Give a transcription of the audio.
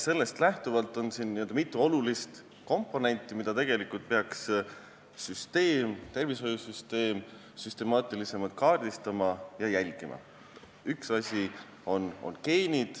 Sellest lähtudes on siin mitu olulist komponenti, mida tervishoiusüsteem peaks süstemaatilisemalt jälgima.